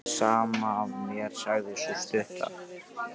Sama er mér, sagði sú stutta.